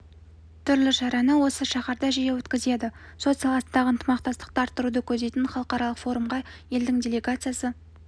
түрлі шараны осы шаһарда жиі өткізеді сот саласындағы ынтымақтастықты арттыруды көздейтін халықаралық форумға елдің делегациясы